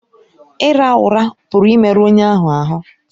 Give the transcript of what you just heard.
Ịra ụra pụrụ imerụ onye ahụ ahụ́